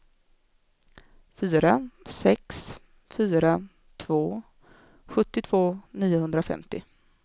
fyra sex fyra två sjuttiotvå niohundrafemtio